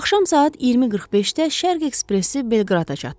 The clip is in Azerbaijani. Axşam saat 20:45-də Şərq ekspresi Belqrada çatdı.